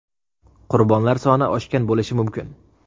Qurbonlar soni oshgan bo‘lishi mumkin.